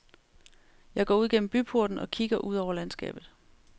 Jeg går ud gennem byporten og kigger ud over landskabet.